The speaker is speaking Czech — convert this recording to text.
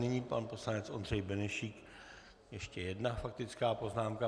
Nyní pan poslanec Ondřej Benešík, ještě jedna faktická poznámka.